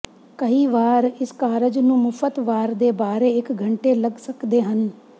ਕਈ ਵਾਰ ਇਸ ਕਾਰਜ ਨੂੰ ਮੁਫ਼ਤ ਵਾਰ ਦੇ ਬਾਰੇ ਇੱਕ ਘੰਟੇ ਲੱਗ ਸਕਦੇ ਹਨ